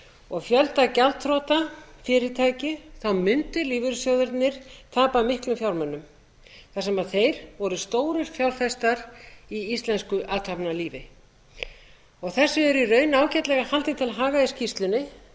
og fjölda gjaldþrota fyrirtækja mundu lífeyrissjóðirnir tapa miklum fjármunum þar sem þeir voru stórir fjárfestar í íslensku athafnalífi þessu er í raun ágætlega haldið til haga í skýrslunni enda